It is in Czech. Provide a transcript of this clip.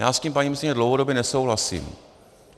Já s tím, paní ministryně, dlouhodobě nesouhlasím.